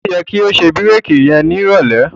Ó yẹ ko ṣe bírèkì yẹn nírọ̀lẹ́.